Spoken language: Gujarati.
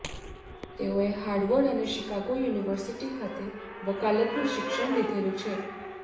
તેઓએ હાવર્ડ અને શિકાગો યૂનિવર્સિટી ખાતે વકાલતનું શિક્ષણ લીધેલું છે